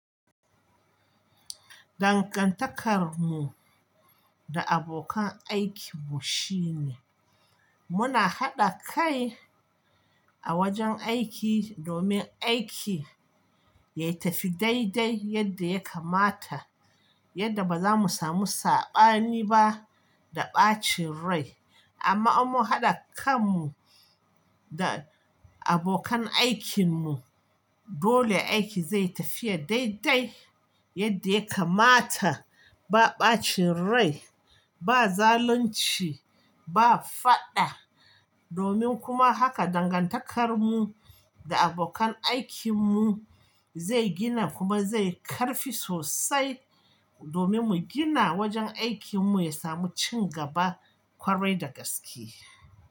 Dangantakarmu da abokan aikin mu shi ne. Muna haɗa kai a wajen aiki domin aiki yatafi daidai yadda ya kamata, yadda ba zamu samu saɓani ba da ɓacin rai. Amma in mu haɗa kanmu da abokan aikinmu, dole aiki zai tafiya daidai yadda ya kamata, ba ɓacin rai, ba zalunci, ba faɗa. Domin kuma haka dangantakarmu da abokan aikinmu zai gina kuma zai karfi sosai, domin mu gina wajen aikinmu ya samu ci gaba ƙwarai da gaske.